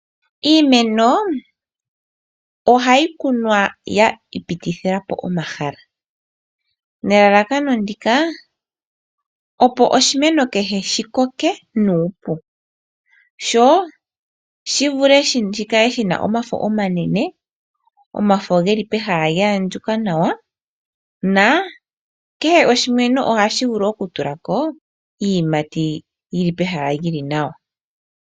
Iimeno ohayi kunwa ya ipitithila po omahala, nelalakano ndika opo oshimeno kehe shikoke nuupu sho shivule shikale shina omafo omanene, omafo geli pehala lyahandjuka nawa na kehe oshimeno ohashi vulu okutulako iiyimati yili pehala lyili nawa.